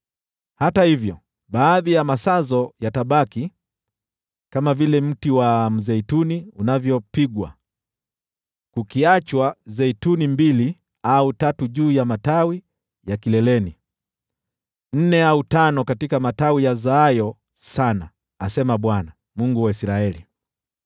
Hata hivyo baadhi ya masazo yatabaki, kama vile mti wa mzeituni unavyopigwa, kukiachwa zeituni mbili au tatu juu ya matawi kileleni, nne au tano katika matawi yazaayo sana,” asema Bwana , Mungu wa Israeli.